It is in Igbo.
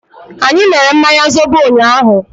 Anyị mere mmanya zobo ụnyaahụ.